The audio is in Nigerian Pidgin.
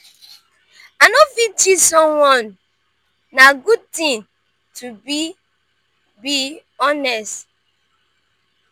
i no fit cheat someone na good ting to be to be honest.